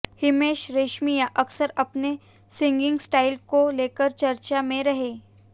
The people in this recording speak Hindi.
हिमेश रेशमियां अक्सर अपने सिंगिंग स्टाइल को लेकर चर्चा में रहे